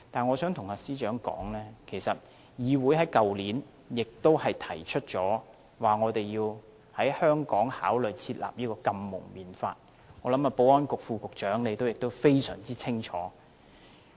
我想告訴司長，其實議會在去年也提出要考慮在香港訂立禁蒙面法，我想保安局副局長對此也非常清楚。